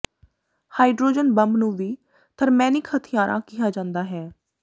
hydrogen bomb ਨੂੰ ਵੀ ਥਰਮੈਨਿਕ ਹਥਿਆਰਾਂ ਕਿਹਾ ਜਾ ਸਕਦਾ ਹੈ